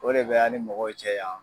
O de bɛ an ni mɔgɔw cɛ yan